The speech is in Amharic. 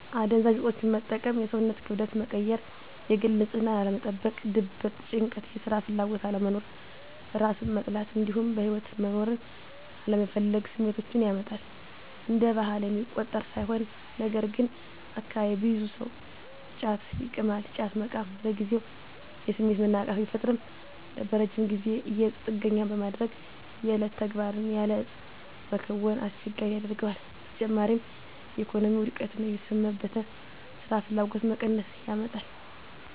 አደንዛዥ እፆችን መጠቀም የሰውነትን ክብደት መቀየር፣ የግል ንፅህናን አለመጠበቅ፣ ድብርት፣ ጭንቀት፣ የስራ ፍላጎት አለመኖር፣ እራስን መጥላት እንዲሁም በህይወት መኖርን አለመፈለግ ስሜቶችን ያመጣል። እንደ ባህል የሚቆጠር ሳይሆን ነገርግን አካባቢየ ብዙ ሰው ጫት ይቅማል። ጫት መቃም ለጊዜው የስሜት መነቃቃት ቢፈጥርም በረጅም ጊዜ ለእፁ ጥገኛ በማድረግ የዕለት ተግባርን ያለ እፁ መከወንን አስቸጋሪ ያደርገዋል። በተጨማሪም የኢኮኖሚ ውድቀትን፣ የቤተሰብ መበተን፣ ስራፍላጎት መቀነስን ያመጣል።